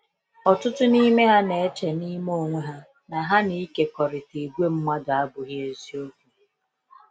Ọtụtụ n’ime ha na eche n'me onwe ha na ha na ịkekọrịta ìgwè mmadụ abụghị eziokwu.